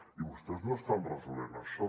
i vostès no estan resolent això